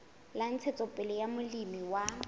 la ntshetsopele ya molemi wa